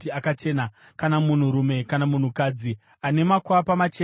“Kana munhurume kana munhukadzi ane makwapa machena paganda